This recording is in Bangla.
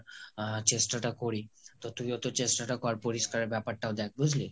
আহ চেষ্টাটা করি। তো তুইও তো চেষ্টাটা কর পরিষ্কারের ব্যাপারটাও দ্যাখ বুঝলি?